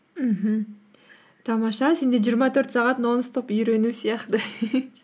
мхм тамаша сенде жиырма төрт сағат нон стоп үйрену сияқты